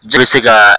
Ji bɛ se kaa